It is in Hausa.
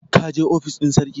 ka je ofis ɗin sarki!